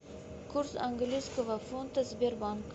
курс английского фунта сбербанк